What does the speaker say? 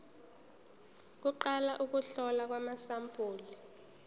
kuqala ukuhlolwa kwamasampuli